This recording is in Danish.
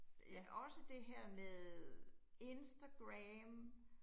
Øh også dette her med Instagram